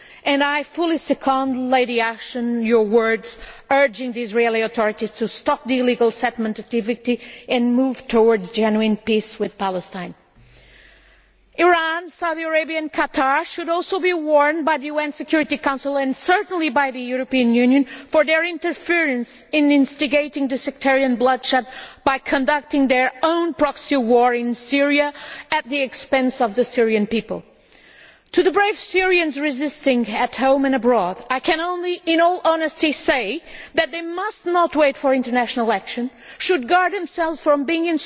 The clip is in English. Lady Ashton, I fully second your words urging the Israeli authorities to stop the illegal settlement activity and move towards genuine peace with Palestine. Iran, Saudi Arabia and Qatar should also be warned by the UN Security Council, and certainly by the European Union, about their interference in instigating the sectarian bloodshed by conducting their own proxy war in Syria at the expense of the Syrian people. To the brave Syrians resisting at home and abroad, I can only in all honesty say that they must not wait for international action, should guard themselves from being